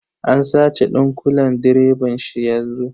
An sace dunƙulen direban shi yanzu.